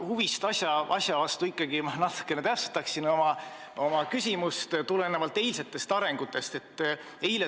Huvist asja vastu ja tulenevalt eilsetest arengutest ma ikkagi natuke oma küsimust täpsustan.